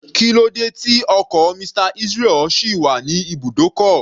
Kílódé tí ọkọ̀ Mr. Israel sì wà ní ibùdókọ̀?